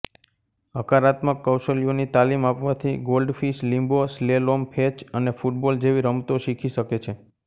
હકારાત્મક કૌશલ્યોની તાલીમ આપવાથી ગોલ્ડફિશ લિમ્બો સ્લેલોમ ફેચ અને ફુટબોલ જેવી રમતો શીખી શકે છે